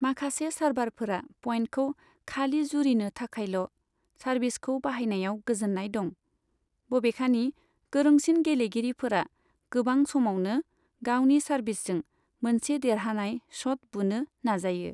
माखासे सार्भारफोरा पइन्टखौ खालि जुरिनो थाखायल' सार्भिसखौ बाहायनायाव गोजोन्नाय दं। बबेखानि, गोरोंसिन गेलेगिरिफोरा गोबां समावनो गावनि सार्भिसजों मोनसे देरहानाय शट बुनो नाजायो।